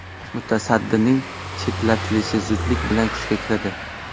Mutasaddining chetlatilishi zudlik bilan kuchga kiradi.